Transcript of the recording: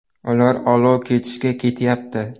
Ular olov kechishga ketyapti.